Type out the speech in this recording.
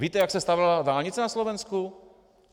Víte, jak se stavěla dálnice na Slovensku?